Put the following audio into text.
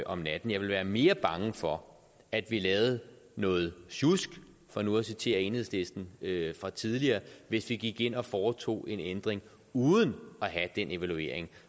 om natten jeg ville være mere bange for at vi lavede noget sjusk for nu at citere enhedslisten fra tidligere hvis vi gik ind og foretog en ændring uden at have den evaluering